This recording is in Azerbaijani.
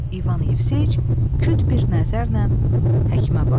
İvan Yevseyiç küt bir nəzərlə həkimə baxdı.